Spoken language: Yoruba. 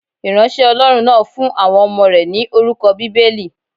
Ìránṣẹ́ Ọlọ́run náà fún àwọn ọmọ rẹ̀ ni orúkọ Bíbélì.